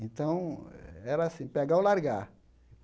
Então, era assim, pegar ou largar.